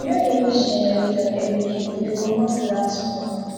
we no dey use generator everyday e dey comot black smoke